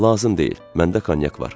Lazım deyil, məndə konyak var.